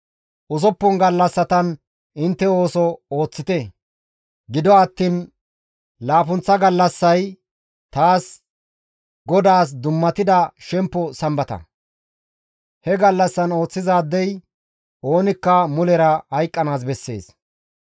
Usuppun gallassatan intte ooso ooththite; gido attiin laappunththa gallassay taas GODAAS dummatida shempo Sambata; he gallassaan ooththizaadey oonikka mulera hayqqanaas bessees.